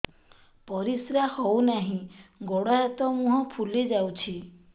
ପରିସ୍ରା ହଉ ନାହିଁ ଗୋଡ଼ ହାତ ମୁହଁ ଫୁଲି ଯାଉଛି